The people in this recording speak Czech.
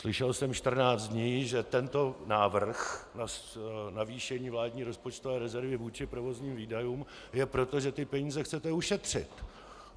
Slyšel jsem 14 dní, že tento návrh na navýšení vládní rozpočtové rezervy vůči provozním výdajům je proto, že ty peníze chcete ušetřit.